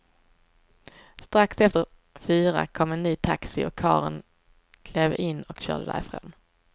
Strax efter fyra kom en ny taxi och karlen klev in och körde därifrån.